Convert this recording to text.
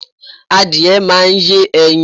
Adìyẹ máa ń yé ẹyin.